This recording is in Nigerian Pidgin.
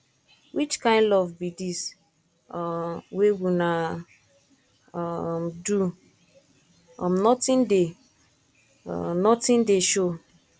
which kin love be dis um wey una um do um nothing dey um nothing dey show